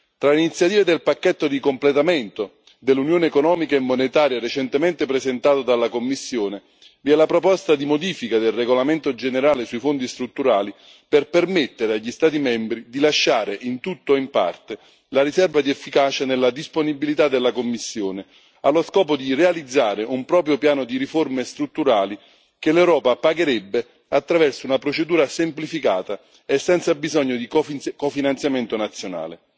Tra le iniziative del pacchetto di completamento dell'Unione economica e monetaria, recentemente presentato dalla Commissione, vi è la proposta di modifica del regolamento generale sui fondi strutturali per permettere agli Stati membri di lasciare in tutto o in parte la riserva di efficacia nella disponibilità della Commissione, allo scopo di realizzare un proprio piano di riforme strutturali, che l'Europa pagherebbe attraverso una procedura semplificata e senza bisogno di cofinanziamento nazionale.